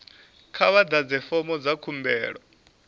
kha vha ḓadze fomo dza khumbelo